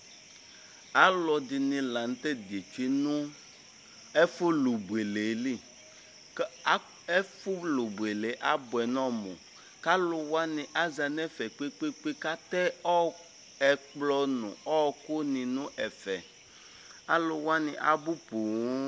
Alʋɛdìní la ntɛ zɛti nʋ ɛfʋ lu bʋele li Ɛfʋ lu bʋele abʋɛ nʋ ɔmu Alʋwani aza nʋ ɛfɛ kpe kpe kpe kʋ atɛ ɛkplɔ nʋ ɔku ni nʋ ɛfɛ Alʋwani abʋ poo